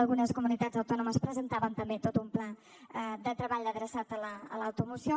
algunes comunitats autònomes presentàvem també tot un pla de treball adreçat a l’automoció